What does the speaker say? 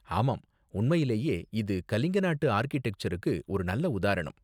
ஆமாம், உண்மையிலேயே இது கலிங்க நாட்டு ஆர்க்கிடெக்சருக்கு ஒரு நல்ல உதாரணம்.